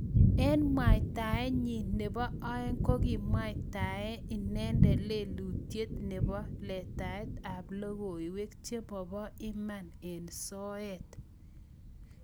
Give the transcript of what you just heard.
Eng mwaitaen nyiin nepoo oeng ko kikimwaitae inendet lelutyoo nepo letaet ap logoiwek chemopoo Iman eng Soet